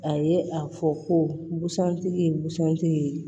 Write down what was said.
A ye a fɔ ko busan tigi ye busan tigi ye